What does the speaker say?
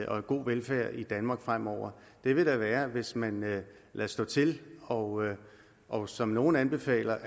og god velfærd i danmark fremover da vil være hvis man lader stå til og og som nogle anbefaler